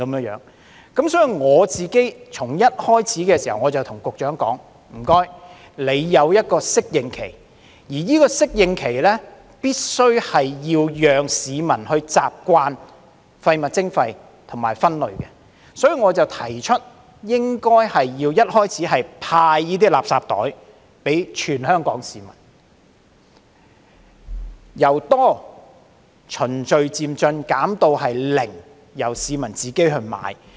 因此，我一開始便告訴局長，需要訂一個適應期，而在適應期內必須讓市民習慣廢物徵費和分類，所以我提出開始時應要派發垃圾袋給全港市民，由"多"循序漸進地減至"零"，由市民自行購買。